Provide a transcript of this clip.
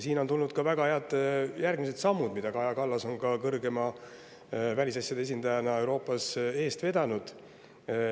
Siin on tulnud ka väga head järgmised sammud, mida Kaja Kallas on välisasjade kõrge esindajana Euroopas eest vedanud.